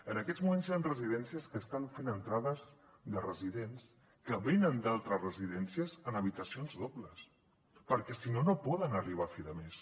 en aquests moments hi han residències que estan fent entrades de residents que venen d’altres residències en habitacions dobles perquè si no no poden arribar a fi de mes